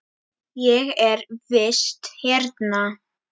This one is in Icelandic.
Ég er í vist hérna.